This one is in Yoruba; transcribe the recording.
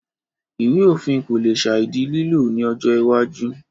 Ìwé òfin kò le sàì di lílò ní ọjọ́ iwájú